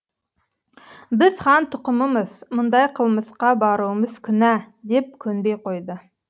біз хан тұқымымыз мұндай қылмысқа баруымыз күнә деп көнбей қойды